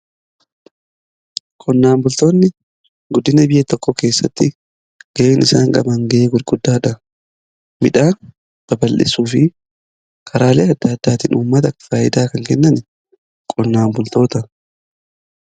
Qonnaan bultoonni guddina biyya tokko keessatti gaheen isaan qaban gahee guddaa qaba. Midhaan babal'isuu fi karaalee adda addaatiin uummata faayidaa kan kennan qonnaan bultootadha.